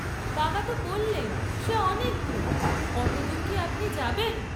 বাবা ত বল্লেন সে অনেক দূর, অতদূর কি আপনি যাবেন?